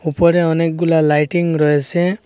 উপরে অনেকগুলা লাইটিং রয়েসে।